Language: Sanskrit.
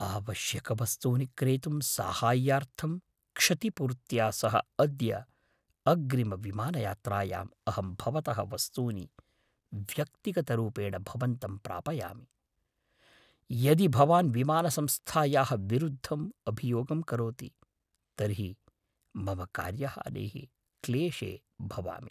आवश्यकवस्तूनि क्रेतुं साहाय्यार्थं क्षतिपूर्त्या सह अद्य अग्रिमविमानयात्रायाम् अहं भवतः वस्तूनि व्यक्तिगतरूपेण भवन्तं प्रापयामि, यदि भवान् विमानसंस्थायाः विरुद्धम् अभियोगं करोति, तर्हि मम कार्यहानेः क्लेशे भवामि।